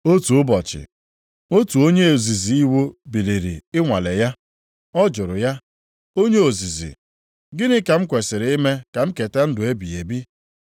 Otu ụbọchị, otu onye ozizi iwu biliri ịnwale ya. Ọ jụrụ ya, “Onye ozizi, gịnị ka m kwesiri ime ka m keta ndụ ebighị ebi?”